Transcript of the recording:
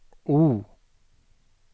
O